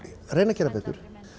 reyna að gera betur